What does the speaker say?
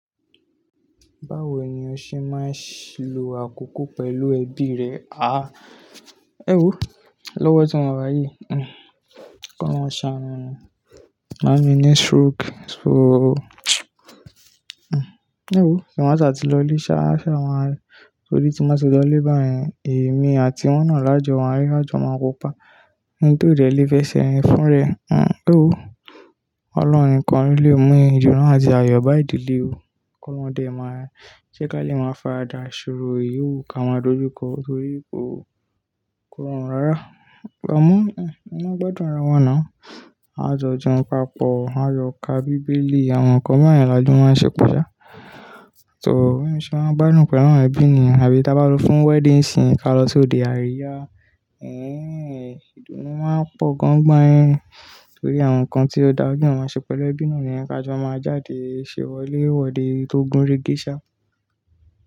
Báwo ni o ṣe máa ń lo àkókò pẹ̀lú ẹbí rẹ, àá, ẹ́ wo, lọ́wọ́ tí mo wá yí, K'Ọlọhun ṣaanu ni, máamí ni stroke so, ẹ́ wo, tí wọ́n ba ṣa ti lọ ile ṣa, ṣá wá, torí tí nba ti lọ ilé báyẹn èmi àti wọ́n náà làjọ wá, laàjọ máa kópa. Ẹni tó dẹ̀ lé fẹṣẹ rìn fún rẹ̀, ẹ́ wo, ọlọ́run nìkan lè mú ìdùnnú náà àti ayọ̀ bá ìdílé o, K'Ọlọhun dẹ máa ká lè máa faradà ìṣòro èyí o wu ká má dojúkọ torí kò rọrùn rárá. Amọ, a ma n gbádùn ara wa náà, a jọ jẹun papọ, a yọ ká bíbélì àwọn nǹkan bayẹn làjọ máa ń ṣe pọ ṣá. Ṣò ó, bí mo ṣe máa ń bá ní pẹ̀lú àwọn ẹbí mi àbí bá ti lọ fún wedding scene ká lọ sóde àríyá, ìdunú máa ń pọ̀ gan gan torí àwọn nǹkan tí ó dàbí wọn máa ṣe pẹ̀lú ẹbí náà ni kí a jọ máa jáde ṣèwọlé wọde tó gúnregésà.